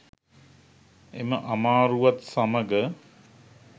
එම අමාරුවත් සමග